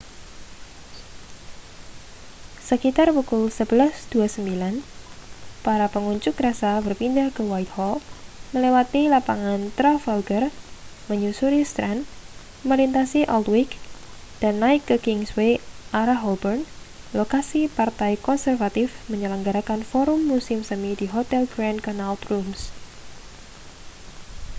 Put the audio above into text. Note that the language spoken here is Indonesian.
sekitar pukul 11.29 para pengunjuk rasa berpindah ke whitehall melewati lapangan trafalgar menyusuri strand melintasi aldwych dan naik ke kingsway arah holborn lokasi partai konservatif menyelenggarakan forum musim semi di hotel grand connaught rooms